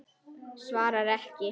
Svarar ekki.